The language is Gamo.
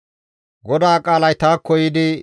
GODAA qaalay taakko yiidi,